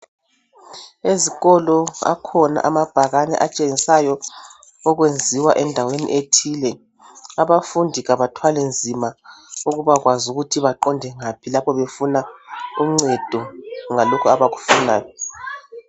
Ezikolo akhona amabhakani atshengisayo okwenziwa endaweni ethile, abafundi abathwali nzima ukubakwazi ukuthi baqonde ngaphi lapho befuna uncedo ngalokho abakufunayo.